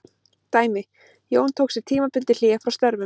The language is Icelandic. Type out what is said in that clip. Dæmi: Jón tók sér tímabundið hlé frá störfum.